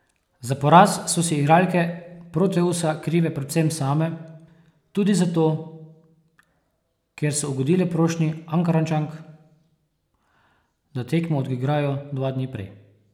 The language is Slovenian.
Za poraz so si igralke Proteusa krive predvsem same, tudi zato, ker so ugodile prošnji Ankarančank, da tekmo odigrajo dva dni prej.